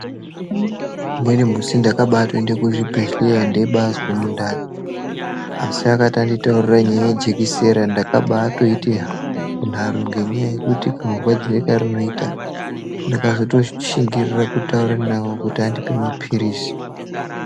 Umweni musi ndakabatoenda kuzvibhedheya ndeizwa mundani asi akati anditaurira nyaya yejekisera ndakabatoita nharo ngenyaya yekuti kamurwadzire karinoita. Ndakatozoshingirira kutaura navo kuti vandipe mapiririzi.